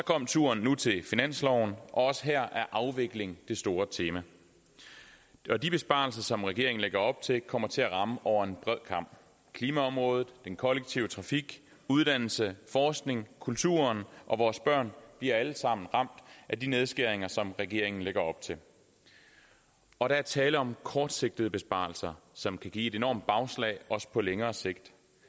turen til finansloven også her er afvikling det store tema de besparelser som regeringen lægger op til kommer til at ramme over en bred kam klimaområdet den kollektive trafik uddannelse forskning kulturen og vores børn bliver alle sammen ramt af de nedskæringer som regeringen lægger op til og der er tale om kortsigtede besparelser som kan give et enormt bagslag også på længere sigt